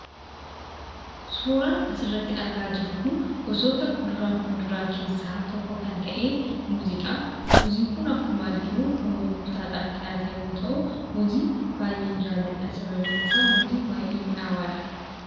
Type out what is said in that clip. Suuraan asirratti argaa jirru kun gosoota kuduraa fi muduraa keessaa tokko kan ta'e muuziidha. Innis kan arginu kan gurgurtaadhaaf dhiyaate yoo ta'u, muuzii baay'een jaalladah sababiin isaa immoo baay'ee mi'aawaadha.